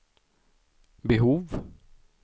behov